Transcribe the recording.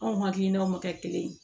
Anw hakilinaw ma kɛ kelen ye